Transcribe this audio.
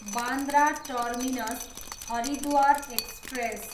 Bandra terminus, Haridwar express